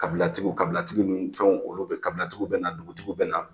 Kabilatigiw kabilatigiw ni fɛnw olu be kabilatigiw bɛ na dugutigiw bɛ na